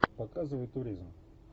показывай туризм